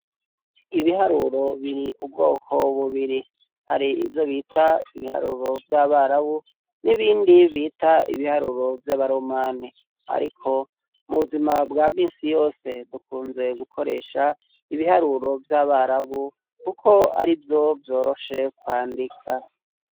Ibiharuro biri ubwoko bubiri: hari ivyo bita ibiharuro vy'abarabu n'ibindi bita ibiharuro vy'abaromani. Ariko mu buzima bwa misi yose bakunze gukoresha ibiharuro vy'abarabu kuko ari vyo vyoroshe kwandika.